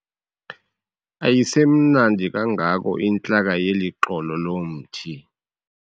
Ayisemnandi ngako intlaka yeli xolo lomthi.